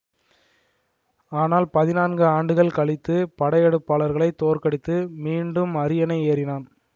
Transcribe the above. ஆனால் பதினான்கு ஆண்டுகள் கழித்து படையெடுப்பாளர்களை தோற்கடித்து மீண்டும் அரியணை ஏறினான்